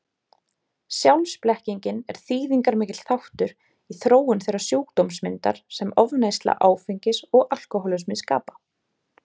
Sjálfsblekkingin er þýðingarmikill þáttur í þróun þeirrar sjúkdómsmyndar sem ofneysla áfengis og alkohólismi skapa.